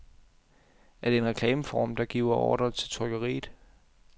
Er det en reklameform, der giver ordrer til trykkeriet?